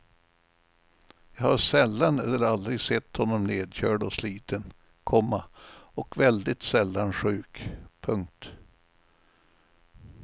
Jag har sällan eller aldrig sett honom nedkörd och sliten, komma och väldigt sällan sjuk. punkt